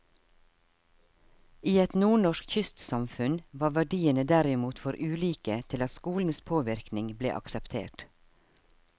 I et nordnorsk kystsamfunn var verdiene derimot for ulike til at skolens påvirkning ble akseptert.